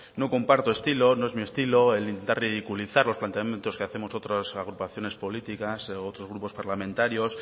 no comparto estilo no es mi estilo el de ridiculizar los planteamientos que hacemos otras agrupaciones políticas otros grupos parlamentarios